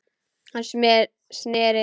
Hann sneri sér að henni.